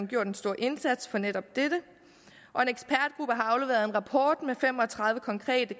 gjort en stor indsats for netop dette og har afleveret en rapport med fem og tredive konkrete